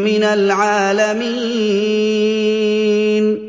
مِّنَ الْعَالَمِينَ